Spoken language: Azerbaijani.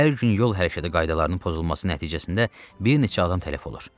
Hər gün yol hərəkəti qaydalarının pozulması nəticəsində bir neçə adam tələf olur.